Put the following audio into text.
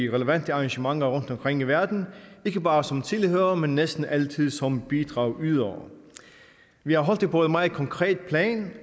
relevante arrangementer rundt omkring i verden ikke bare som tilhørere men næsten altid som bidragydere vi har holdt det på et meget konkret plan